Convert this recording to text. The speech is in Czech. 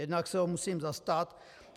Jednak se ho musím zastat.